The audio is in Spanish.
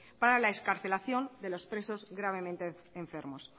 para la excarcelación de los presos gravemente enfermos